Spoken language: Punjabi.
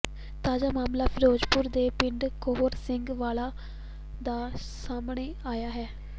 ਤਾਜ਼ਾ ਮਾਮਲਾ ਫ਼ਿਰੋਜ਼ਪੁਰ ਦੇ ਪਿੰਡ ਕੋਹਰ ਸਿੰਘ ਵਾਲਾ ਦਾ ਸਾਹਮਣੇ ਆਇਆ ਹੈ